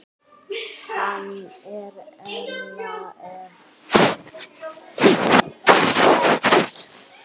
Hann og Ella eru ágæt.